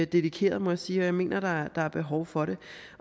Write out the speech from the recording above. dedikeret må jeg sige og jeg mener der er behov for det